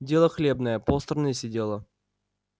дело хлебное полстраны сидело